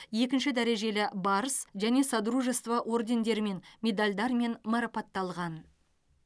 екінші дәрежелі барыс және содружество ордендердерімен медальдармен марапатталған